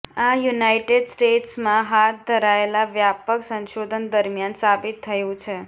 આ યુનાઇટેડ સ્ટેટ્સમાં હાથ ધરાયેલા વ્યાપક સંશોધન દરમિયાન સાબિત થયું છે